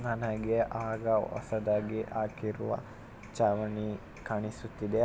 ನನಗೆ ಆಗ ಹೊಸದಾಗಿ ಹಾಕಿರುವ ಚಾವಣಿ ಕಾಣಿಸುತ್ತಿದೆ--